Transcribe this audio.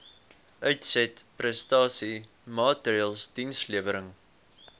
uitsetprestasie maatreëls dienslewerings